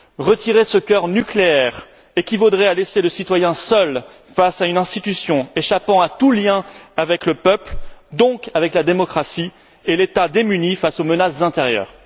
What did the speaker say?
Retirer ce cœur nucléaire équivaudrait à laisser le citoyen seul face à une institution échappant à tout lien avec le peuple, donc avec la démocratie, et à laisser l'État démuni face aux menaces intérieures.